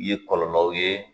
Ye kɔlɔlɔw ye